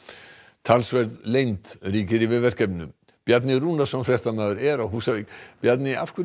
talsverð leynd ríkir yfir verkefninu Bjarni Rúnarsson fréttamaður er á Húsavík Bjarni af hverju